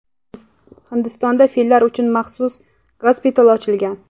Hindistonda fillar uchun maxsus gospital ochilgan.